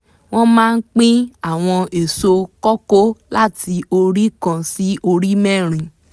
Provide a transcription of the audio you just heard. wọ́n máa pín àwọn èso kọkó láti orí kan sí orí mẹ́rin